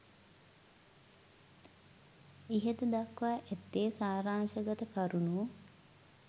ඉහත දක්වා ඇත්තේ සාරාංශගත කරුනු